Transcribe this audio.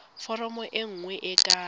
foromo e nngwe e ka